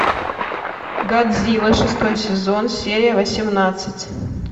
годзилла шестой сезон серия восемнадцать